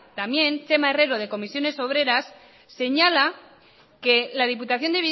también txema herrero de comisiones obreras señala que la diputación